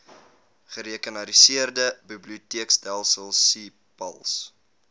gerekenariseerde biblioteekstelsel cpals